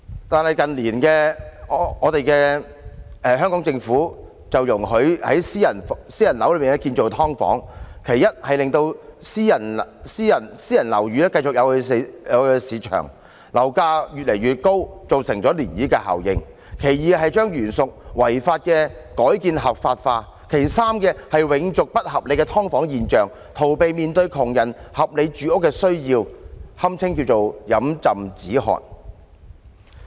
但是，近年特區政府則容許在私樓內建造"劏房"，其一是令私樓變得有市場，樓價越來越高，造成漣漪效應；其二是將原屬違法的改建合法化；其三是永續不合理的"劏房"現象，逃避面對窮人的合理住屋需要，堪稱飲鴆止渴。